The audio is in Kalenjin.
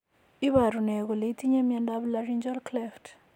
Iporu ne kole itinye miondap Laryngeal cleft?